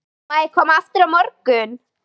Má ég koma aftur á morgun?